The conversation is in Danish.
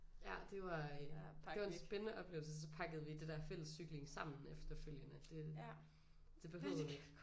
Ja det var en det var en spændende oplevelse så pakkede vi det der fælles cykling sammen efterfølgende det det behøvede